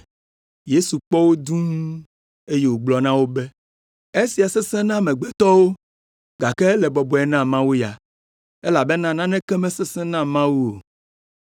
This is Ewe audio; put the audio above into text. Yesu kpɔ wo dũu, eye wògblɔ na wo be, “Esia sesẽ na amegbetɔwo, gake ele bɔbɔe na Mawu ya, elabena naneke mesesẽ na Mawu o.”